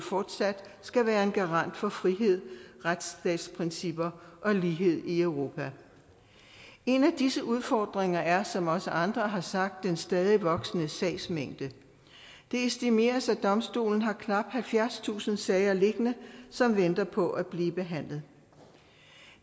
fortsat skal være en garant for frihed retsstatsprincipper og lighed i europa en af disse udfordringer er som også andre har sagt den stadig voksende sagsmængde det estimeres at domstolen har knap halvfjerdstusind sager liggende som venter på at blive behandlet